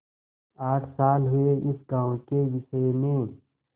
आठ साल हुए इस गॉँव के विषय में